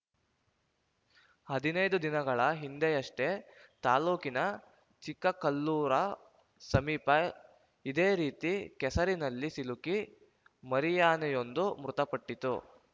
ಹದಿನೈದು ದಿನಗಳ ಹಿಂದೆಯಷ್ಟೆ ತಾಲೂಕಿನ ಚಿಕ್ಕಕಲ್ಲೂರ ಸಮೀಪ ಇದೇ ರೀತಿ ಕೆಸರಿನಲ್ಲಿ ಸಿಲುಕಿ ಮರಿಯಾನೆಯೊಂದು ಮೃತಪಟ್ಟಿತ್ತು